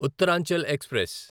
Uttaranchal express